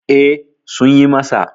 E, Sun yi masa.